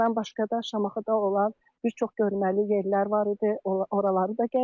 Bundan başqa da Şamaxıda olan bir çox görməli yerlər var idi, oraları da gəzdik.